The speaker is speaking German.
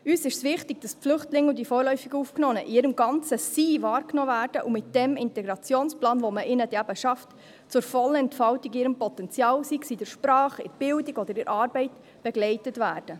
Uns ist wichtig, dass die Flüchtlinge und die vorläufig Aufgenommenen in ihrem ganzen Sein wahrgenommen werden und mit dem Integrationsplan, den man für sie dann schafft, zur vollen Entfaltung ihres Potenzials, sei es in der Sprache, in der Bildung oder in der Arbeit, begleitet werden.